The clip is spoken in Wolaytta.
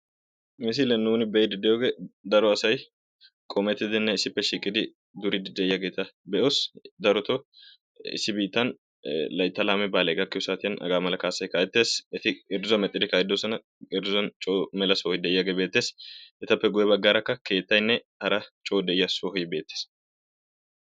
ha misiliyan nuuni be'iidi diyoogee dario asay qoometidinne issippe eqqidi duriidi diyaageeta be'oos. darotoo issi biittan layttaa lamee gakkiyo saatiyan hagaamala kaasay kaa'etees.